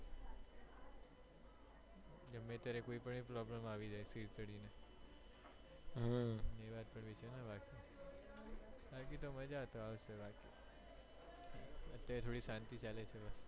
ગમે ત્યારે કોઈ પણ problem આવી જાય સિદી ચડી ને બાકી તો મજ્જા આવી જાય છે અત્યરે થોડી શાંતિ ચાલે છે